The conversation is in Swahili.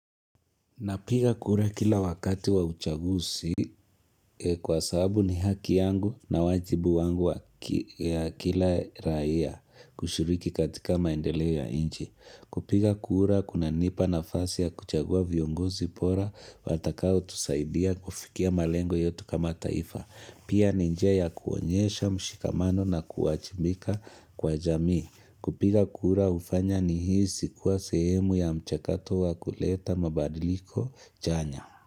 Napiga kura kila wakati wa uchagusi kwa sababu ni haki yangu na wajibu wangu ya kila raia kushuriki katika maendeleo yanchi. Kupiga kura kuna nipa nafasi ya kuchagua viongozi bora watakao tusaidia kufikia malengo yetu kama taifa. Pia ni njia ya kuonyesha mshikamano na kuajibika kwa jamii. Kupiga kura hufanya nihisi kuwa sehemu ya mchakato wa kuleta mabadiliko chanya.